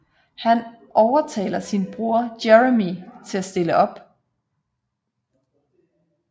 Han overtaler sin bror Jeremy til at stille op